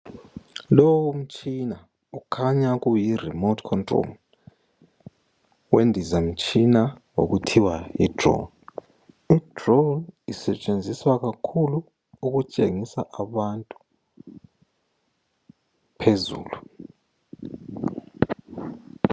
Lowomtshina kukhanya kukhanya kuyi remote control wendizamtshina okuthiwa yidrawn. Idrawn isetshenziswa kakhulu ukutshengisa abantu phezulu.